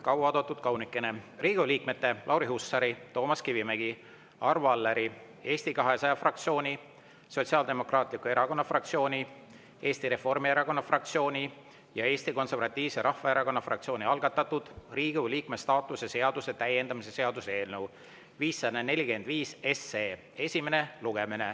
Kaua oodatud kaunikene, Riigikogu liikmete Lauri Hussari, Toomas Kivimägi, Arvo Alleri, Eesti 200 fraktsiooni, Sotsiaaldemokraatliku Erakonna fraktsiooni, Eesti Reformierakonna fraktsiooni ja Eesti Konservatiivse Rahvaerakonna fraktsiooni algatatud Riigikogu liikme staatuse seaduse täiendamise seaduse eelnõu 545 esimene lugemine.